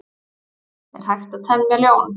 Er hægt að temja ljón?